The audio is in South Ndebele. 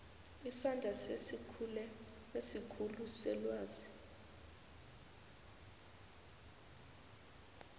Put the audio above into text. isandla sesikhulu selwazi